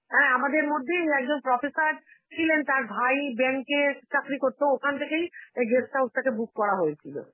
হ্যাঁ আমাদের মধ্যেই একজন professor ছিলেন তার ভাই bank এ চাকরি করতো, ওখান থেকেই এই guest house টাকে book করা হয়েছিল.